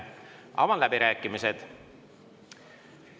Avan läbirääkimised.